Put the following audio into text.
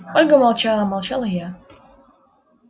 ольга молчала молчал и я